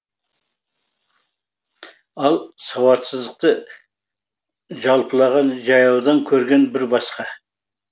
ал сауатсыздықты жалпылаған жаяудан көрген бір басқа